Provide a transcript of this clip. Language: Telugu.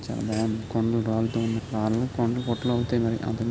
చాలా బాగుంది కొండలు రాళ్ళతో ఉన్నాయి రాళ్ళు కొండలు అవుతాయి మరి అంతకు --